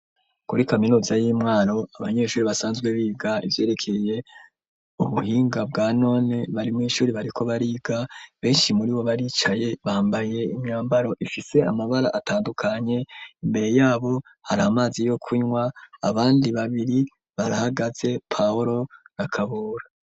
Kuri kaminuza y'imwaro abanyeshuri basanzwe biga ivyerekeye ubuhinga bwa none bari mw'ishuri bariko bariga beshi muri bo baricaye bambaye imyambaro ifise amabara atandukanye, imbere yabo hari amazi yo kunwa abandi babiri barahagaze paulo na Kabura.